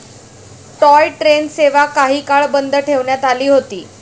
Toy train सेवा काही काळ बंद ठेवण्यात आली होती.